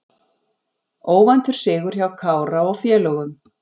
Óvæntur sigur hjá Kára og félögum